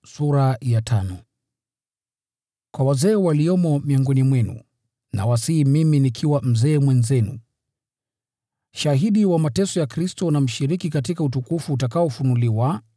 Kwa wazee waliomo miongoni mwenu, nawasihi mimi nikiwa mzee mwenzenu, shahidi wa mateso ya Kristo, na mshiriki katika utukufu utakaofunuliwa: